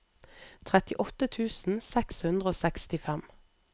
trettiåtte tusen seks hundre og sekstifem